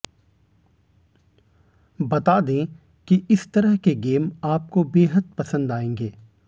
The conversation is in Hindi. बता दे कि इस तरह के गेम आपको बेहद पसंद आएगे